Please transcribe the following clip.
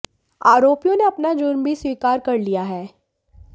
आरोपियों ने अपना जुर्म भी स्वीकार कर लिया है